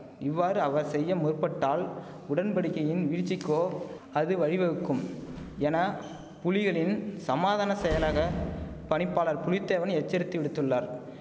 இவ்வாறு அவர் செய்ய முற்பட்டால் உடன்படிக்கையின் வீழ்ச்சிக்கோ அது வழிவகுக்கும் என புலிகளின் சமாதான செயலக பணிப்பாளர் புலித்தேவன் எச்சரித்து விடுத்துள்ளார்